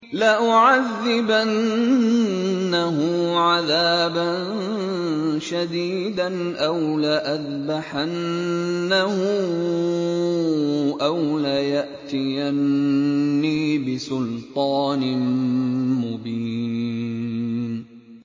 لَأُعَذِّبَنَّهُ عَذَابًا شَدِيدًا أَوْ لَأَذْبَحَنَّهُ أَوْ لَيَأْتِيَنِّي بِسُلْطَانٍ مُّبِينٍ